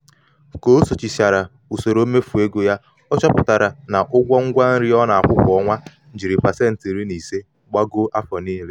ka o sochichara usoro mmefu ego ya ọ chọpụtara na ụgwọ ngwa nri ọ na-akwụ kwa ọnwa jiri pasenti iri na ise gbagoo afọ niile.